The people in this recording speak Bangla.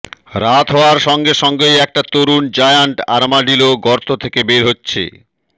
রাত হওয়ার সঙ্গে সঙ্গেই একটা তরুণ জায়ান্ট আর্মাডিলো গর্ত থেকে বের হচ্ছে